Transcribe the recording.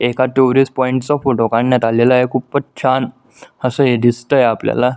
एका tourist point चा photo काढण्यात आलेला आहे खूपच छान अस हे दिसतंय आपल्याला.